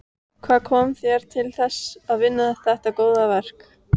Hvað kom þér til þess að vinna þetta góða verk?